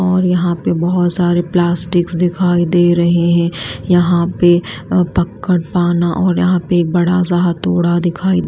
और यहां पे बहुत सारे प्लास्टिक्स दिखाई दे रहे हैं यहां पे पकड़ पाना और यहां पे एक बड़ा सा हथौड़ा दिखाई दे--